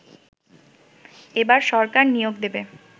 এবার সরকার নিয়োগ দেবে